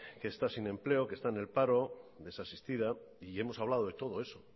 que está sin empleo que está en el paro desasistida y hemos hablado de todo eso